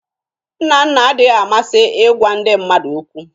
Nnanna adịghị amasị ịgwa ndị mmadụ okwu